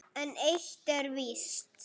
En eitt er víst